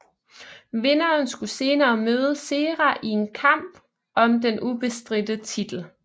Vinderen skulle senere møde Serra i en kamp om den ubestridte titel